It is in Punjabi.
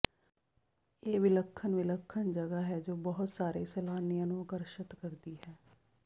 ਇਹ ਵਿਲੱਖਣ ਵਿਲੱਖਣ ਜਗ੍ਹਾ ਹੈ ਜੋ ਬਹੁਤ ਸਾਰੇ ਸੈਲਾਨੀਆਂ ਨੂੰ ਆਕਰਸ਼ਤ ਕਰਦੀ ਹੈ